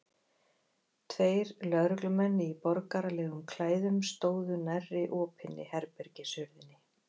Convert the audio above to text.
Tveir lögreglumenn í borgaralegum klæðum stóðu nærri opinni herbergishurðinni.